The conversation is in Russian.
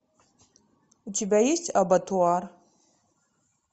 у тебя есть абатуар